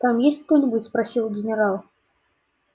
там есть кто-нибудь спросил генерал